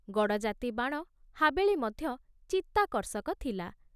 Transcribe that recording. ଗଡ଼ଜାତୀ ବାଣ ହାବେଳୀ ମଧ୍ୟ ଚିତ୍ତାକର୍ଷକ ଥିଲା।